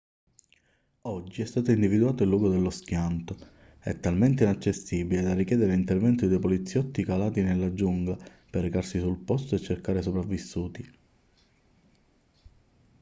oggi è stato individuato il luogo dello schianto è talmente inaccessibile da richiedere l'intervento di due poliziotti calati nella giungla per recarsi sul posto e cercare sopravvissuti